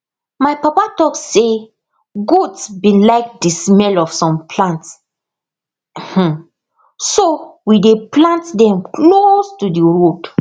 my papa talk say goats bin like the smell of some plants um so we dey plant them close to d road